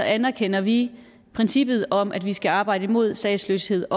anerkender vi princippet om at vi skal arbejde imod statsløshed